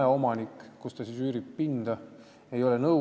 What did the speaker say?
Ja mispärast ei ole ta sellega nõus olnud?